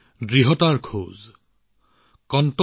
দৃঢ় নিশ্চয়তাৰে সৈতে আগুৱাবলৈ